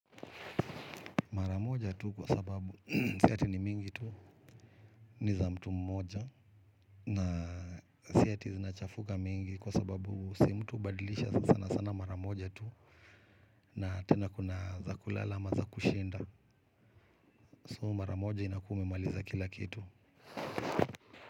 Mara moja tu kwa sababu si ati ni mingi tu ni za mtu mmoja na si ati zinachafuka mingi kwa sababu si mtu hubadilisha sana sana mara moja tu, na tena kuna za kulala ama za kushinda. So mara moja inakuwa umemaliza kila kitu.